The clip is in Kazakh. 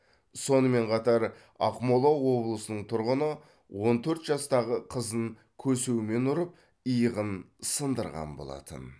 сонымен қатар ақмола облысының тұрғыны он төрт жастағы қызын көсеумен ұрып иығын сындырған болатын